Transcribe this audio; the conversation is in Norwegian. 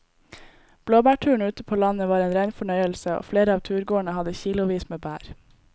Blåbærturen ute på landet var en rein fornøyelse og flere av turgåerene hadde kilosvis med bær.